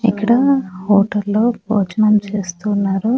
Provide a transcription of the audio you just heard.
ఇక్కడ హోటల్లో భోజనం చేస్తున్నారు.